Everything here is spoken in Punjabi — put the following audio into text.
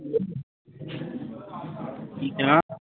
ਕੀ ਕਿਹਾ